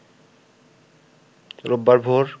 রোববার ভোর